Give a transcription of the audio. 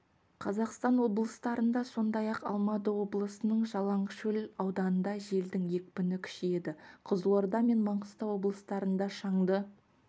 қазақстан облыстарында сондай-ақ алматы облысының жалаңашкөл ауданында желдің екпіні күшейеді қызылорда мен маңғыстау облыстарында шаңды